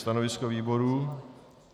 Stanovisko výboru?